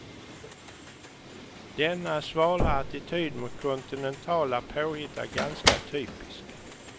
Denna svala attityd mot kontinentala påhitt är ganska typisk.